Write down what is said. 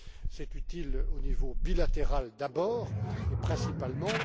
C'est utile au niveau bilatéral d'abord, et principalement.